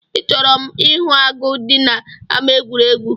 I chọrọ m ihu agụ dị n'ámá egwuregwu?